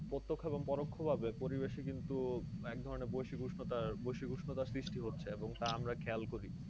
প্রত্যক্ষ ও পরোক্ষভাবে পরিবেশে কিন্তু এক ধরনের বৈশ্বিক উষ্ণতার বৈশ্বিক উষ্ণতার সৃষ্টি হচ্ছে এবং তা আমরা খেয়াল করি।